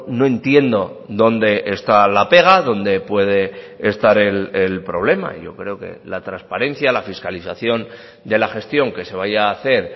no entiendo dónde está la pega dónde puede estar el problema yo creo que la transparencia la fiscalización de la gestión que se vaya a hacer